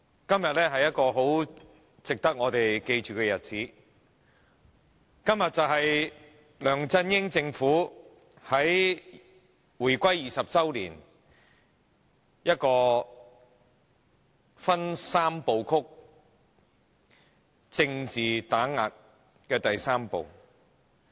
今天是值得大家銘記的日子，因為今天梁振英政府在回歸20周年之際，進行政治打擊三步曲的第三步。